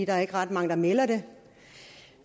der er ikke ret mange der melder det